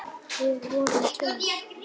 Við vorum tveir.